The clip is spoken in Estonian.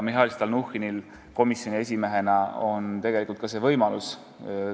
Mihhail Stalnuhhinil komisjoni esimehena on tegelikult see võimalus olemas.